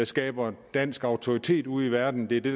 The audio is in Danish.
skaber dansk autoritet ude i verden det er det